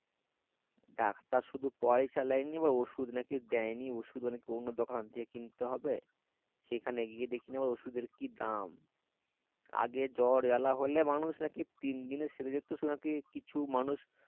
doctor শুধু পয়সা লেই নিয়ে ওষুধ নাকি দেয়নি ওষুধ নাকি অন্য দোকান থেকে কিনতে হবে সেখানে গিয়ে দেখি ওষুধের কি দাম আগে জ্বর জ্বালা হলে মানুষ নাকি তিনদিনে সেরে যেত নাকি কিছু মানুষ